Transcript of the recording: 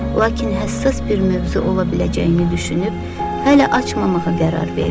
Lakin həssas bir mövzu ola biləcəyini düşünüb hələ açmamağa qərar verdi.